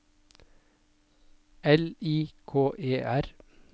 L I K E R